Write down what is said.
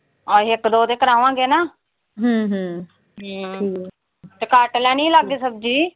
ਆਹੀ ਇੱਕ ਦੋ ਤੋਂ ਕਰਾਵਾਂਗੇ ਨਾ। ਤੇ ਕੱਟ ਲੈਣੀ ਸੀ ਲਿਆ ਕੇ ਸਬਜ਼ੀ।